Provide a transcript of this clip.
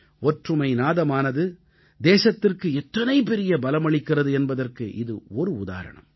ஒற்றுமை நாதமானது தேசத்திற்கு எத்தனை பெரிய பலமளிக்கிறது என்பதற்கு இது ஒரு உதாரணம்